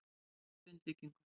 spurði Jón Grindvíkingur.